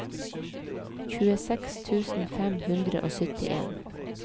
tjueseks tusen fem hundre og syttien